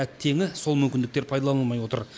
әттеңі сол мүмкіндіктер пайдаланылмай отыр